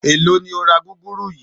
Èló ni o ra gúgúrú yìí?